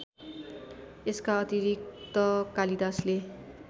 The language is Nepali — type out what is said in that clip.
यसका अतिरिक्त कालिदासले